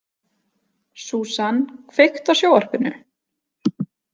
Susan, kveiktu á sjónvarpinu.